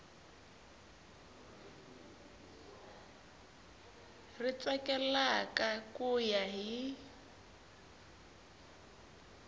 ri tsakelaka ku ya hi